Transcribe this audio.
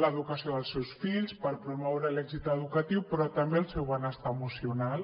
l’educació dels seus fills per promoure l’èxit educatiu però també el seu benestar emocional